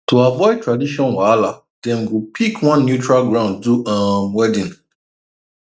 to avoid tradition wahala dem go pick one neutral ground do um wedding